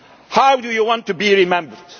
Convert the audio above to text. very simple. How do you want to